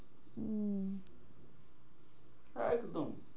একদম।